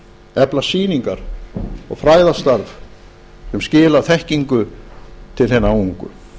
efla sýningar og fræðastarf sem skila þekkingu til hinna ungu